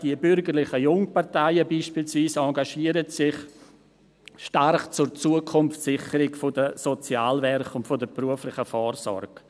Die bürgerlichen Jungparteien engagieren sich beispielsweise stark für die Zukunftssicherung der Sozialwerke und der beruflichen Vorsorge.